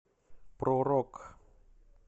про рок